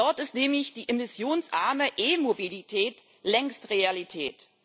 Dort ist nämlich die emissionsarme e Mobilität längst Realität.